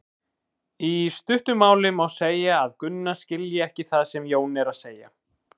Í stuttu máli má segja að Gunna skilji ekki það sem Jón er að segja.